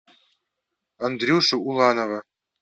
андрюшу уланова